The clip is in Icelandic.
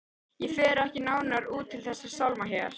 Ég fer ekki nánar út í þessa sálma hér.